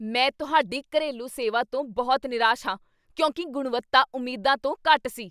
ਮੈਂ ਤੁਹਾਡੀ ਘਰੇਲੂ ਸੇਵਾ ਤੋਂ ਬਹੁਤ ਨਿਰਾਸ਼ ਹਾਂ ਕਿਉਂਕਿ ਗੁਣਵੱਤਾ ਉਮੀਦਾਂ ਤੋਂ ਘੱਟ ਸੀ।